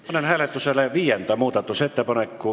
Panen hääletusele viienda muudatusettepaneku.